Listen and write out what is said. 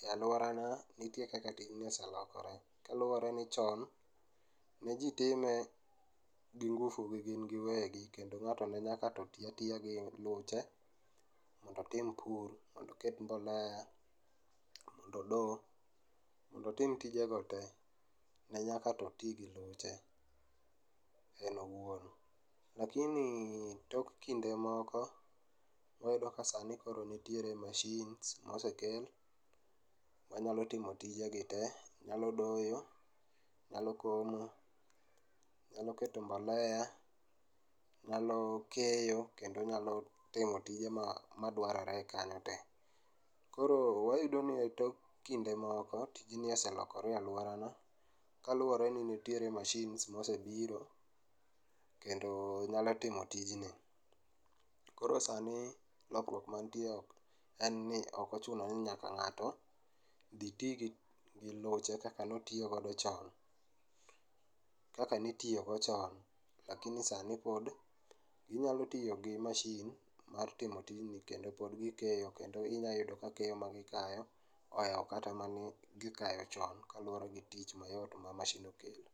e aluora na nitie kaka tijni oseloore kaluor eni chon ne jii time gi ngufu gi gin giwegi kendo ngato ne nyaka tii atiya gi luche mondo otim pur, mondo oket mbolea, mondo odoo, mondo otim tijego tee ne nyaka otii gi luche en owuon. Lakini tok kinde moko, wayudo ka sani koro nitie machines mosekel manyalo timo tije gi tee, nyalo doyo, nyalo komo, nyalo keto mbolea, nyalo keyo kendo nyalo timo tije madwarore kanyo tee. Koro wayudo ni e tok kinde moko, tijni oselokore e aluora na kaluore ni nitie machines mosebiro kendo nyalo timo tijni. Koro sani lokruok mantie en ni ok ochuno ni nyaka gato dhi tii gi luche kaka notiyo godo cho, kaka nitiyo go chon lakini sani pod inyalo tiyo gi mashin mar timo tijni kendo pod gikeyo kendo inyalo yudo ni keyo ma gikayo oewo kata mane gikayo chon kaluore gi tich mayot ma mashin ni kelo